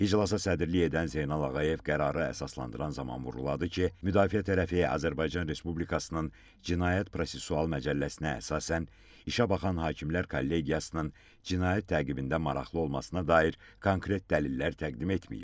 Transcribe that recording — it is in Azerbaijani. İclasa sədrilik edən Zeynal Ağayev qərarı əsaslandıran zaman vurğuladı ki, müdafiə tərəfi Azərbaycan Respublikasının Cinayət Prosessual Məcəlləsinə əsasən işə baxan hakimlər kollegiyasının cinayət təqibində maraqlı olmasına dair konkret dəlillər təqdim etməyib.